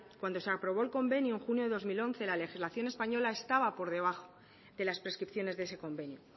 cuando se aprobó el convenio en junio del dos mil once la legislación española estaba por debajo de las prescripciones de ese convenio